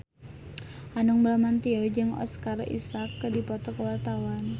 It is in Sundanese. Hanung Bramantyo jeung Oscar Isaac keur dipoto ku wartawan